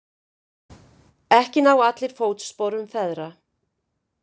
Ekki ná allir fótsporum feðra.